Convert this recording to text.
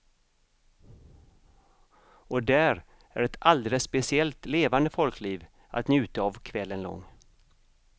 Och där är ett alldeles speciellt levande folkliv att njuta av kvällen lång.